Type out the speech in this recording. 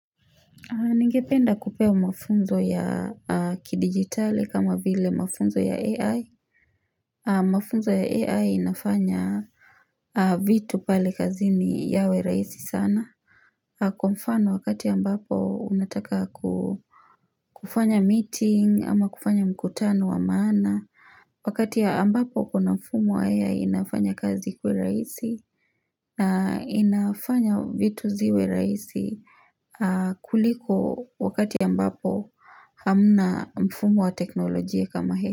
Ningependa kupewa mafunzo ya kidigitali kama vile mafunzo ya AI Mafunzo ya AI inafanya vitu pale kazini yawe rahisi sana Kwa mfano wakati ambapo unataka kufanya meeting ama kufanya mkutano wa maana Wakati ambapo kuna mfumo ya AI inafanya kazi ikue rahisi na inafanya vitu ziwe rahisi kuliko wakati ambapo hamna mfumo wa teknolojia kama AI.